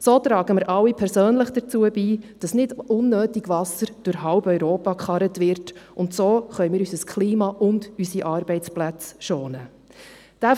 So tragen wir alle persönlich dazu bei, dass nicht unnötig Wasser durch halb Europa gekarrt wird, und so können wir unser Klima und unsere Arbeitsplätze schonen.